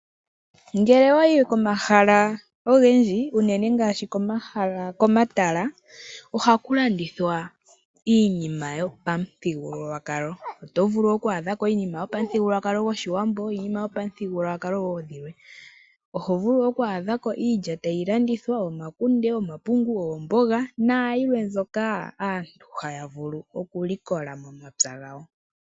Ngele owa yi komahala ogendji unene ngaashi komatala ohaku landithwa iinima yopamuthigululwakalo. Oto vulu okukala wa adhako iinima yopamuthigululwakalo gOshiwambo niinima yopamithigululwakalo wo dhilwe. Oho vulu oku adha ko iilya tayi landitthwa, omakunde, omapungu, oomboga nayilwe mbyoka aantu haya vulu okulikola momapya gawo.